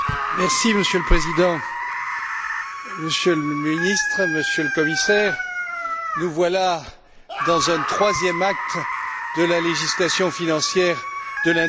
Monsieur le Président, Monsieur le Ministre, Monsieur le Commissaire, nous voilà dans un troisième acte de la législation financière de l'année